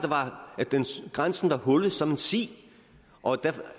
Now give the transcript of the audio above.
grænsen var hullet som en si og